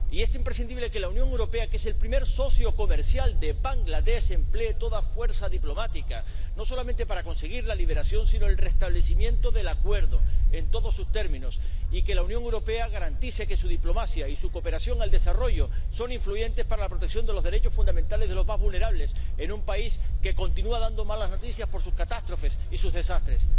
Y es imprescindible que la Unión Europea, que es el primer socio comercial de Bangladés, emplee toda la fuerza diplomática no solamente para conseguir la liberación, sino el restablecimiento del acuerdo en todos sus términos, y que la Unión Europea garantice que su diplomacia y su cooperación al desarrollo son influyentes para la protección de los derechos fundamentales de los más vulnerables, en un país que continúa dando malas noticias por sus catástrofes y sus desastres.